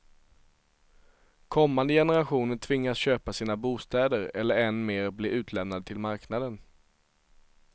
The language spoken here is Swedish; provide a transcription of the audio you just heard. Kommande generationer tvingas köpa sina bostäder eller än mer bli utlämnade till marknaden.